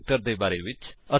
ਇੱਥੇ ਅਸੀ ਵਰਤੋ ਕਰ ਰਹੇ ਹਾਂ